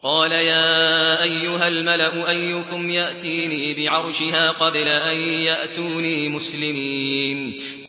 قَالَ يَا أَيُّهَا الْمَلَأُ أَيُّكُمْ يَأْتِينِي بِعَرْشِهَا قَبْلَ أَن يَأْتُونِي مُسْلِمِينَ